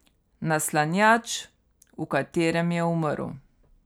Naslanjač, v katerem je umrl.